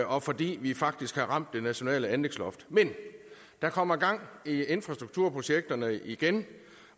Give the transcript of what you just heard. og fordi vi faktisk har ramt det nationale anlægsloft men der kommer gang i infrastrukturprojekterne igen